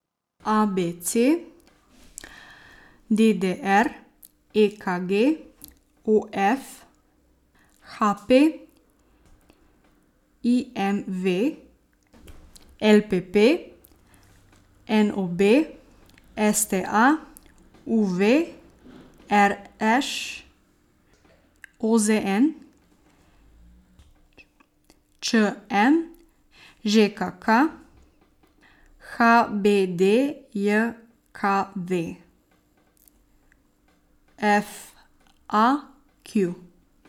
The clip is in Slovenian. A B C; D D R; E K G; O F; H P; I M V; L P P; N O B; S T A; U V; R Š; O Z N; Č M; Ž K K; H B D J K V; F A Q.